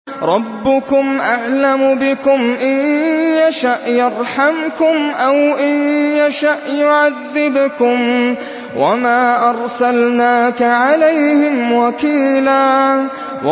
رَّبُّكُمْ أَعْلَمُ بِكُمْ ۖ إِن يَشَأْ يَرْحَمْكُمْ أَوْ إِن يَشَأْ يُعَذِّبْكُمْ ۚ وَمَا أَرْسَلْنَاكَ عَلَيْهِمْ وَكِيلًا